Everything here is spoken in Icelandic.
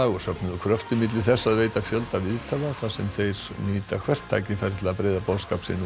og safnað kröftum milli þess að veita fjölda viðtala þar sem þeir nýta hvert tækifæri til að breiða boðskap sinn út